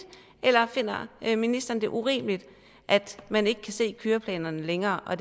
eller finder ministeren det urimeligt at man ikke kan se køreplanerne længere og